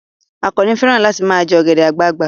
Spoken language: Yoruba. Àkànnì fẹ́ràn láti ma jẹ́ ọ̀gẹ̀dẹ̀ àgbagbà